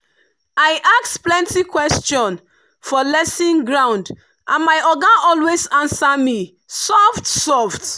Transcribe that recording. i ask plenty question for lesson ground and my oga always answer me soft-soft.